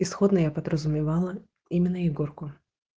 исходно я подразумевала именно егорку